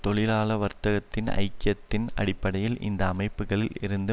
தொழிலாள வர்க்கத்தின் ஐக்கியத்தின் அடிப்படையில் இந்த அமைப்புக்களில் இருந்து